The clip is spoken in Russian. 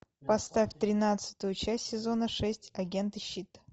поставь тринадцатую часть сезона шесть агенты щит